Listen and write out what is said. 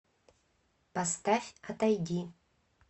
поставь отойди